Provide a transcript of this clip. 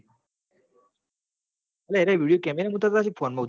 યેરા videocemera ઉતાર તા હસી કે phone મો ઉતાર